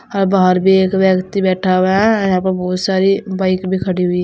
और बाहर भी एक व्यक्ति बैठा हुआ है यहां पे बहुत सारी बाइक खड़ी हुई है।